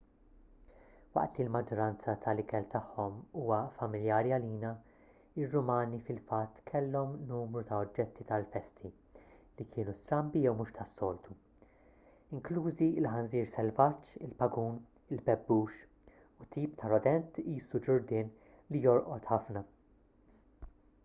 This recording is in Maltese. waqt li l-maġġoranza tal-ikel tagħhom huwa familjari għalina ir-rumani fil-fatt kellhom numru ta' oġġetti tal-festi li kienu strambi jew mhux tas-soltu inklużi il-ħanżir selvaġġ il-pagun il-bebbux u tip ta' rodent qisu ġurdien li jorqod ħafna